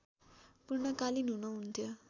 पूर्णकालीन हुनु हुन्नथ्यो